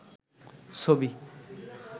ছবি